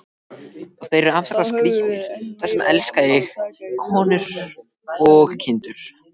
Og þeir eru afskaplega skrítnir, margir hverjir.